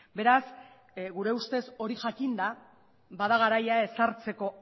beraz gure ustez hori jakinda bada garaian ezartzeko